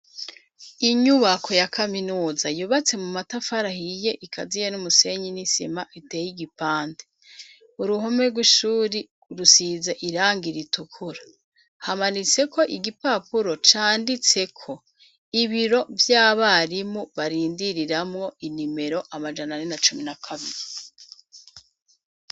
Inyubako ya kaminuza yubatse mu matafari ahiye ikaziye n'umusenyi n'isima biteye igipande . Uruhome rw'ishure rusize irangi ritukura ,hamanitseko igipapuro canditseko ibiro vy'abarimu barindiriramwo inimero amajana ane na cumi na kabiri.